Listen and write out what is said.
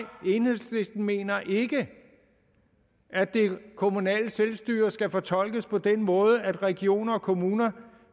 enhedslisten mener ikke at det kommunale selvstyre skal fortolkes på den måde at regioner og kommuner